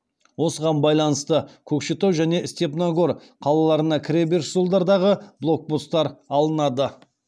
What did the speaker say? осыған байланысты көкшетау және степногор қалаларына кіреберіс жолдардағы блокпостар алынады